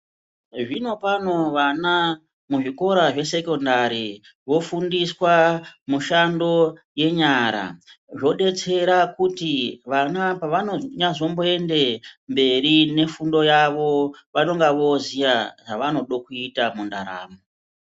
Zvino pano vana muzvikora zvesekhondari, vofundiswa mushando yenyara. Zvodetsera kuti vana pavanozoyende mberi nefundo yavo vanonga voziya zvavanodokuita mundaramo.